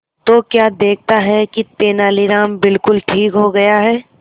तो क्या देखता है कि तेनालीराम बिल्कुल ठीक हो गया है